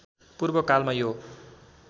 पूर्व कालमा यो